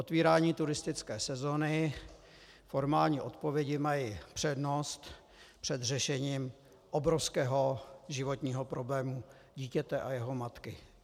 Otevírání turistické sezóny, formální odpovědi mají přednost před řešením obrovského životního problému dítěte a jeho matky.